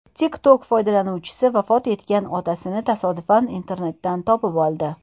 TikTok foydalanuvchisi vafot etgan otasini tasodifan internetdan topib oldi.